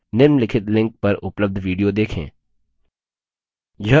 निम्नलिखित link पर उपलब्ध video देखें